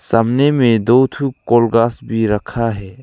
सामने में दो ठु कोल गास भी रखा है।